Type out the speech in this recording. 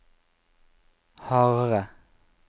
Harare